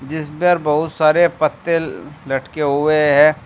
जिसपर बहुत सारे पत्ते लटके हुए है।